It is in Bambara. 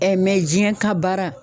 Ɛɛ mɛ jiɲɛ ka baara